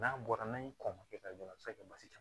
N'a bɔra n'a ye kɔn ka kɛ ka jɔrɔ a bi se ka kɛ basi ta ye